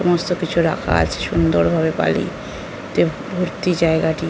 সমস্ত কিছু রাখা আছে সুন্দর ভাবে বালি তে ভর্তি জায়গাটি--